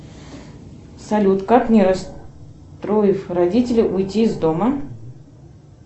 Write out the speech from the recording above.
салют как не расстроив родителей уйти из дома